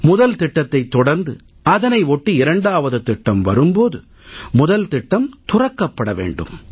முதல் திட்டத்தைத் தொடர்ந்து அதனை ஒட்டி இரண்டாவது திட்டம் வரும் போது முதல் திட்டம் துறக்கப்பட வேண்டும்